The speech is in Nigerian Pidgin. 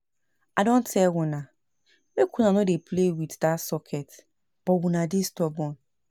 I don tell una make una no dey play no dey play with dat switch but una dey stubborn